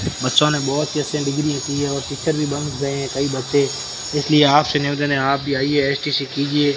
बच्चों ने बहोत ही एस_एन डिग्री की है और टीचर भी बंद हो गये है कई बच्चे इसलिए आपसे निवेदन है आप भी आइए एस_टी_सी कीजिए--